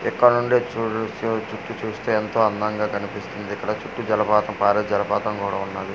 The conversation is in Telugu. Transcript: ఇక్కడి నుండి చూడు చు చుట్టు చూస్తే ఎంతో అందంగా కనిపిస్తుంది ఇక్కడ చుట్టు జలపాతం పారె జలపాతం కూడా ఉన్నది.